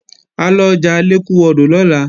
À lọjà Alékúwọdò lọ́la